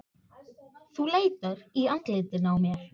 Þú leitar í andlitinu á mér.